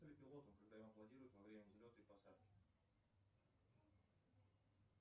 пилоту когда ему аплодируют во время взлета и посадки